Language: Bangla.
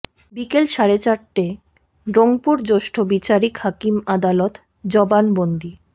বিকেল সাড়ে চারটায় রংপুর জ্যেষ্ঠ বিচারিক হাকিম আদালত জবানবন্দি